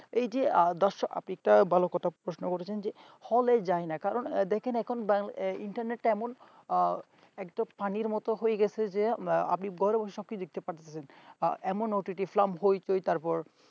এই যে দর্শক আপনি তো ভালো কথা প্রশ্ন করেছেন যে হলে যায় না কারণ দেখেন এখন বা entertainment এমন একদম পানির মতো হয়ে গেছে যে আপনি ঘরে বসে সবকিছু দেখতে পাবেন জেমন ott frum হইচই তারপর